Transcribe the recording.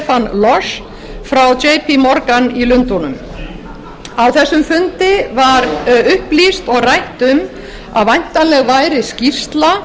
og stefán loss frá morgan í lundúnum á þessum fundi var upplýst og rætt um að væntanleg væri skýrsla